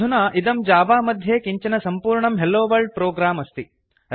अधुना इदं जावा मध्ये किञ्चन सम्पूर्णं हेलोवर्ल्ड प्रोग्राम् अस्ति